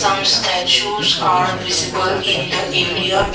some statues are visible in the area.